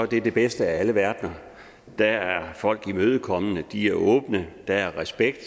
det den bedste af alle verdener dér er folk imødekommende de er åbne der er respekt